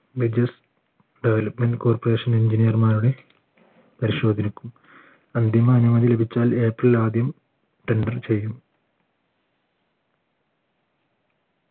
development corporation engineer മാരുടെ പരിശോധിക്കും അന്തിമ അനുമതി ലഭിച്ചാൽ April ആദ്യം tender ചെയ്യും